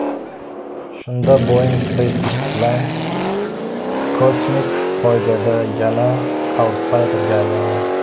Shunda Boeing SpaceX bilan kosmik poygada yana autsayderga aylandi.